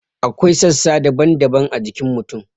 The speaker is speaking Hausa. Akwai sassa daban-daban a jikin mutum.